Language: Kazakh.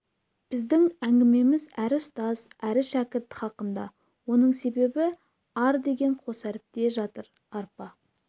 біздің әңгімеміз әрі ұстаз әрі шәкірт хақында оның себебі ар деген қос әріпте жатыр арпа